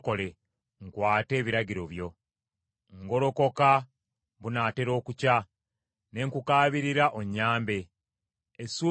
Ngolokoka bunatera okukya ne nkukaabirira onnyambe; essuubi lyange liri mu kigambo kyo.